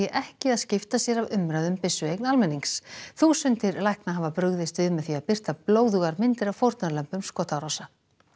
ekki að skipta sér af umræðu um byssueign almennings þúsundir lækna hafa brugðist við með því að birta blóðugar myndir af fórnarlömbum skotárása